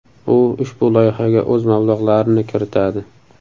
U ushbu loyihaga o‘z mablag‘larini kiritadi.